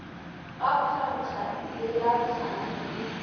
ga phankga le lahlang e